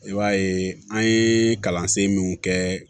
I b'a ye an ye kalansen min kɛ